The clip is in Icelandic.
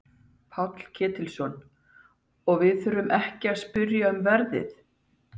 Páll Ketilsson: Og við þurfum ekki að spyrja um verðið?